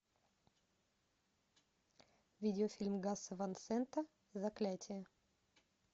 видеофильм гаса ван сента заклятие